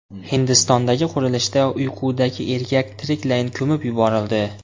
Hindistondagi qurilishda uyqudagi erkak tiriklayin ko‘mib yuborildi.